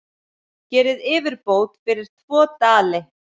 Gerið yfirbót fyrir tvo dali!